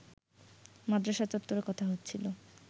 মাদ্রাসা চত্বরে কথা হচ্ছিল